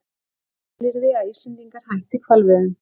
Skilyrði að Íslendingar hætti hvalveiðum